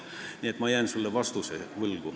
Nii et ma jään sulle vastuse võlgu.